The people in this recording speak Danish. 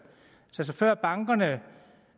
før bankerne